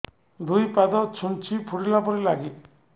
ଦୁଇ ପାଦ ଛୁଞ୍ଚି ଫୁଡିଲା ପରି ଲାଗେ